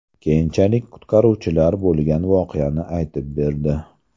Keyinchalik qutqaruvchilar bo‘lgan voqeani aytib berdi.